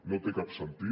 no té cap sentit